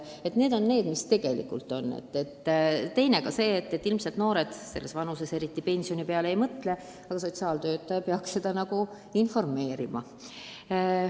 Teine asi on see, et noored eriti pensioni peale ei mõtle, aga sotsiaaltöötaja peaks neid ka selles vallas valgustama.